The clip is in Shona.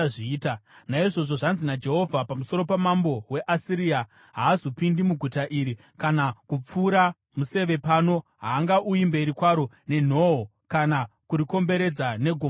“Naizvozvo, zvanzi naJehovha pamusoro pamambo weAsiria: “ ‘Haazopindi muguta iri kana kupfura museve pano. Haangauyi mberi kwaro nenhoo, kana kurikomberedza negomo revhu;